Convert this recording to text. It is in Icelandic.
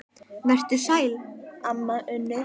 Vertu sæl, amma Unnur.